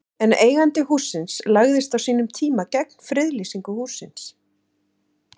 En eigandi hússins lagðist á sínum tíma gegn friðlýsingu hússins?